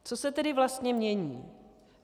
Co se tedy vlastně mění?